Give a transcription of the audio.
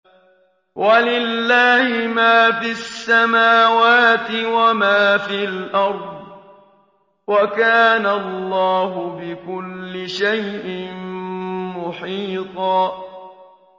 وَلِلَّهِ مَا فِي السَّمَاوَاتِ وَمَا فِي الْأَرْضِ ۚ وَكَانَ اللَّهُ بِكُلِّ شَيْءٍ مُّحِيطًا